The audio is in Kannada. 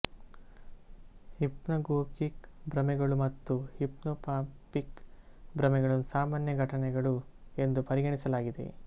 ಹಿಪ್ನಾಗೋಗಿಕ್ ಭ್ರಮೆಗಳು ಮತ್ತು ಹಿಪ್ನೊಪಾಂಪಿಕ್ ಭ್ರಮೆಗಳನ್ನು ಸಾಮಾನ್ಯ ಘಟನೆಗಳು ಎಂದು ಪರಿಗಣಿಸಲಾಗಿದೆ